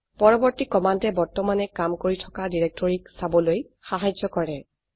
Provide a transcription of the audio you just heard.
পৰবৰ্তী কমান্ডে বৰ্তমানে কাম কৰি থকা ডিৰেক্টৰকীক চাবলৈ সাহায্য কৰে